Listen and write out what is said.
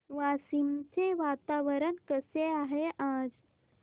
वाशिम चे वातावरण कसे आहे आज